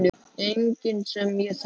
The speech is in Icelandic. Enginn sem ég þekki.